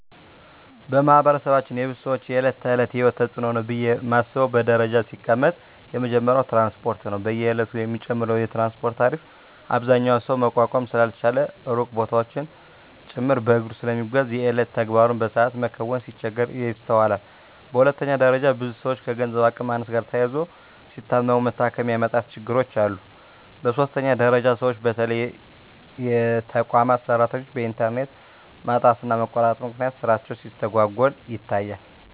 በማህበረሰባችን የብዙ ሰወች የእለት ተእለት የሂወት ተጽኖ ነው ብየ ማስበው በደረጃ ሲቀመጥ የመጀመሪያው ትራንስፓርት ነው። በየእለቱ የሚጨምረው የትራንስፓርት ታሪፍ አብዛኛው ሰው መቋቋም ስላልቻለ ሩቅ ቦታወችን ጭምርት በእግሩ ስለሚጓዝ የየእለት ተግባሩን በሰአት መከወን ሲቸገር ይስተዋላል። በሁለተኛ ደረጃ ብዙ ሰወች ከገንዘብ አቅም ማነስ ጋር ተያይዞ ሲታመሙ መታከሚያ የማጣት ችግሮች አሉ። በሶስተኛ ደረጃ ሰወች በተለይ የተቋማት ሰራተኞች በእንተርኔት ማጣትና መቆራረጥ ምክንያት ስራቸው ሲስተጓጎል ይታያል።